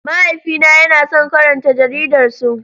Mahaifina yana son karanta Jaridar Sun.